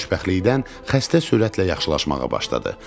Xoşbəxtlikdən xəstə sürətlə yaxşılaşmağa başladı.